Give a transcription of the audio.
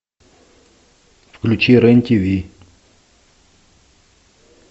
включи рен тв